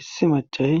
issi macay